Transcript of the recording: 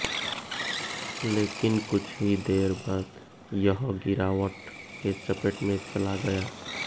लेकिन कुछ ही देर बाद यह गिरावट के चपेट में चला गया